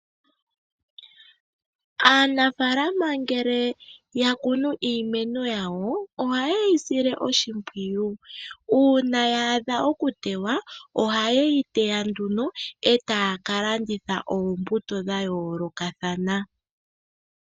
Aanafaalama ngele ya kunu iimeno yawo. Ohaye yi sile oshimpwiyu. Uuna ya adha oku tewa oha ye yi teya nduno etaya kalanditha oombuto dha yoolokathana.